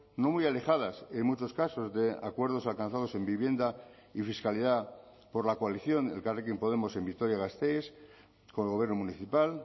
no muy alejadas en muchos casos de acuerdos alcanzados en vivienda y fiscalidad por la coalición elkarrekin podemos en vitoria gasteiz con el gobierno municipal